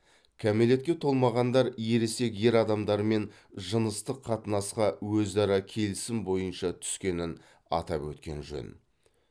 кәмелетке толмағандар ересек ер адамдармен жыныстық қатынасқа өзара келісім бойынша түскенін атап өткен жөн